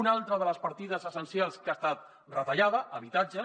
una altra de les partides essencials que ha estat retallada habitatge